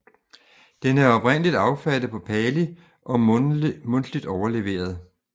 Den er oprindeligt affattet på pali og mundtligt overleveret